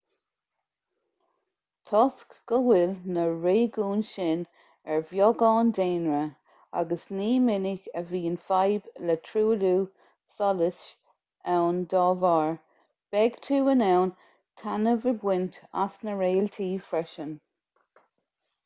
toisc go bhfuil na réigiúin sin ar bheagán daonra agus ní minic a bhíonn fadhb le truailliú solais ann dá bharr beidh tú in ann taitneamh a bhaint as na réaltaí freisin